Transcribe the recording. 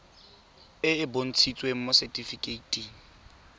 e e bontshitsweng mo setifikeiting